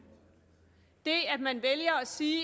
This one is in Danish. det at man vælger at sige